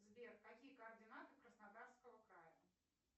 сбер какие координаты краснодарского края